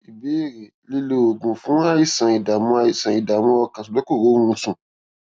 ìbéèrè lílo oògùn fún àìsàn ìdààmú àìsàn ìdààmú ọkàn ṣùgbọn kò rórun sùn